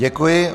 Děkuji.